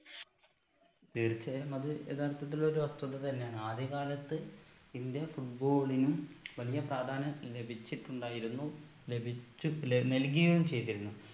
തീർച്ചയായും അത് യഥാർത്ഥത്തിൽ ഒരു വസ്തുത തന്നെയാണ് ആദ്യ കാലത്ത് ഇന്ത്യ football നും വലിയ പ്രാധാന്യം ലഭിച്ചിട്ടുണ്ടായിരുന്നു ലഭിച്ചു നൽകുകയും ചെയ്തിരുന്നു